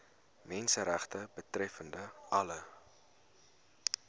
menseregte betreffende alle